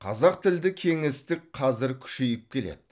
қазақ тілді кеңістік қазір күшейіп келеді